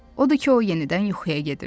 Odu ki, o yenidən yuxuya gedirdi.